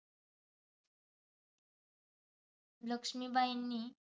लक्ष्मीबाईंनी